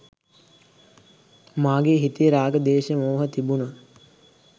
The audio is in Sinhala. මගේ හිතේ රාග, ද්වේශ, මෝහ තිබුණොත්